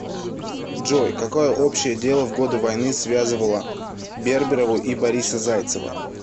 джой какое общее дело в годы войны связывало берберову и бориса зайцева